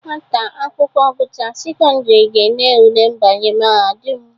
Nwata akwụakwọ gụchara sekọndịrị ga-ele ule mbanye mahadum.